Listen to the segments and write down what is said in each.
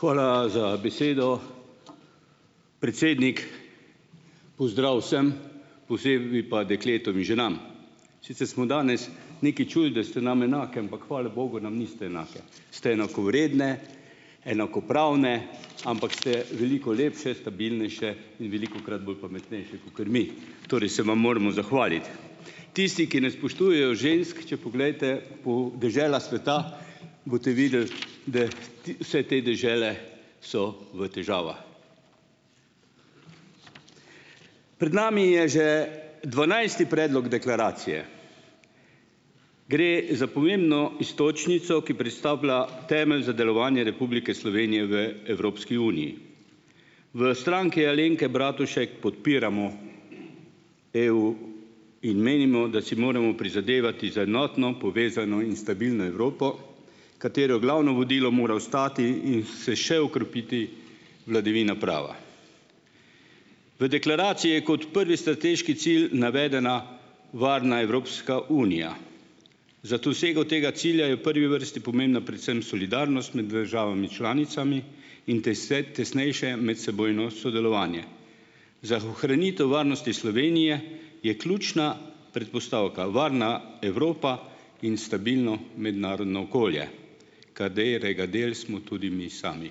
Hvala za besedo, predsednik. Pozdrav vsem, posebej pa dekletom in ženam! smo danes nekaj čuli, da ste nam enake, ampak hvala bogu nam niste enake. Ste enakovredne, enakopravne, ampak ste veliko lepše, stabilnejše in velikokrat bolj pametnejše kakor mi torej se vam moramo zahvaliti. Tisti, ki ne spoštujejo žensk, če poglejte po deželah sveta, boste videli, da ti vse te dežele so v težavah. Pred nami je že dvanajsti predlog deklaracije. Gre za pomembno iztočnico, ki predstavlja temelj za delovanje Republike Slovenije v Evropski uniji. V Stranki Alenke Bratušek podpiramo EU in menimo, da si moramo prizadevati za enotno, povezano in stabilno Evropo, katere glavno vodilo mora ostati in se še okrepiti vladavina prava. V deklaraciji je kot prvi strateški cilj navedena varna Evropska unija. Za dosego tega cilja je v prvi vrsti pomembna predvsem solidarnost med državami članicami in tese tesnejše medsebojno sodelovanje. Za ohranitev varnosti Slovenije je ključna predpostavka varna Evropa in stabilno mednarodno okolje, katerega del smo tudi mi sami.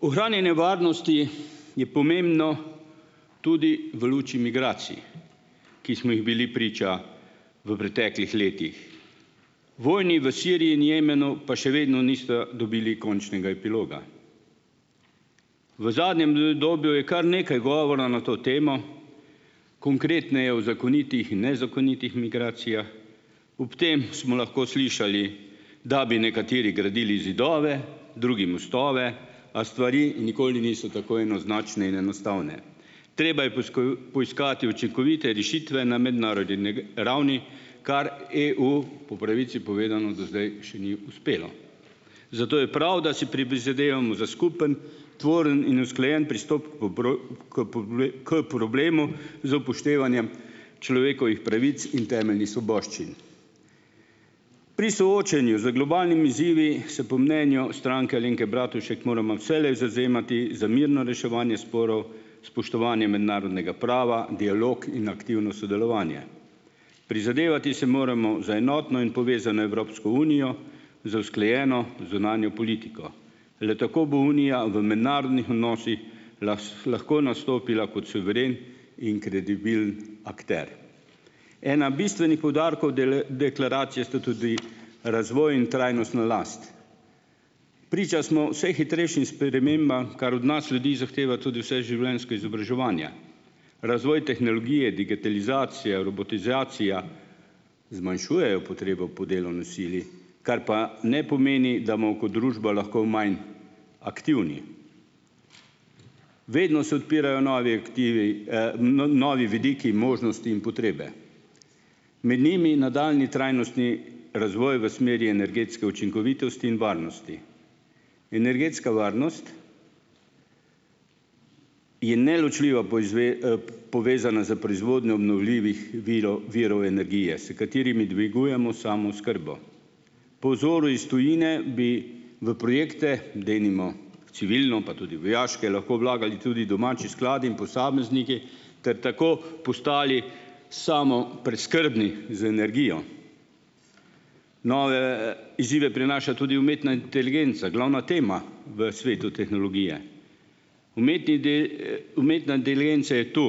Ohranjanje varnosti je pomembno tudi v luči migracij, ki smo jim bili priča v preteklih letih. Vojni v Siriji in Jemnu pa še vedno nista dobili končnega epiloga. V zadnjem, je, kar nekaj govora na to temo, konkretneje o zakonitih in nezakonitih migracijah. Ob tem smo lahko slišali, da bi nekateri gradili zidove, drugi mostove, a stvari nikoli niso tako enoznačne in enostavne. Treba je poiskati učinkovite rešitve na mednarodni ravni, kar EU po pravici povedano do zdaj še ni uspelo, zato je prav, da si prizadevamo za skupni, tvorni in usklajeni pristop k problemu z upoštevanjem človekovih pravic in temeljnih svoboščin. Pri soočanju z globalnimi izzivi se po mnenju Stranke Alenke Bratušek moramo vselej zavzemati za mirno reševanje sporov, spoštovanje mednarodnega prava, dialog in aktivno sodelovanje. Prizadevati se moramo za enotno in povezano Evropsko unijo, za usklajeno zunanjo politiko le tako bo unija v mednarodnih odnosih lahko nastopila kot suveren in kredibilen akter. Eden bistvenih poudarkov dele deklaracije sta tudi razvoj in trajnostna last. Priča smo vse hitrejšim spremembam, kar od nas ljudi zahteva tudi vseživljenjsko izobraževanje. Razvoj tehnologije, digitalizacija, robotizacija zmanjšujejo potrebo po delovni sili, kar pa ne pomeni, da kot družba lahko manj aktivni. Vedno se odpirajo novi aktivi, novi vidiki, možnosti in potrebe, med njimi nadaljnji trajnostni razvoj v smeri energetske učinkovitosti in varnosti. Energetska varnost je neločljivo povezana s proizvodnjo obnovljivih virov virov energije, s katerimi dvigujemo samooskrbo. Po vzoru iz tujine bi v projekte, denimo civilno, pa tudi vojaške, lahko vlagali tudi domači skladi in posamezniki ter tako postali samopreskrbni z energijo. Nove izzive prinaša tudi umetna inteligenca, glavna tema v svetu tehnologije. Umetna inteligenca je to,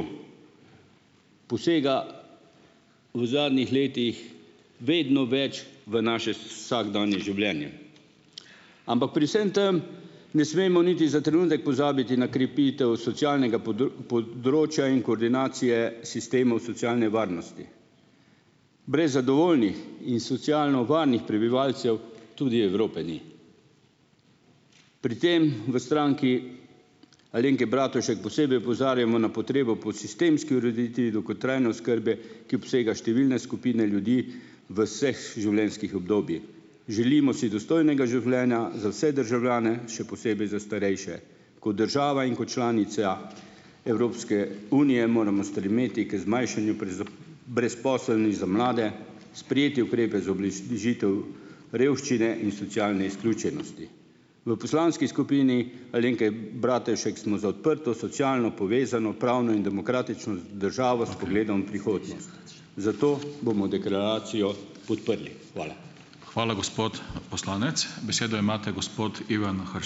posega v zadnjih letih vedno več v naše vsakdanje življenje. Ampak pri vsem tem ne smemo niti za trenutek pozabiti na krepitev socialnega področja in koordinacije sistemov socialne varnosti. Brez zadovoljnih in socialno varnih prebivalcev tudi Evrope ni. Pri tem v Stranki Alenke Bratušek posebej opozarjamo na potrebo po sistemski ureditvi dolgotrajne oskrbe, ki obsega številne skupine ljudi v življenjskih Želimo si dostojnega življenja za vse državljane, še posebej za starejše. Kot država in kot članica Evropske unije moramo stremeti k zmanjšanju brezposelni za mlade, sprejeti ukrepe za ubliš revščine in socialne izključenosti. V poslanski skupini Alenke Bratušek smo za odprto, socialno, povezano, pravno in demokratično džavo s pogledom v prihodnost. Zato bomo deklaracijo podprli. Hvala. Hvala, gospod poslanec, besedo imate gospod Ivan ...